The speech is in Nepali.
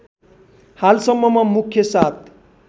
हालसम्ममा मुख्य सात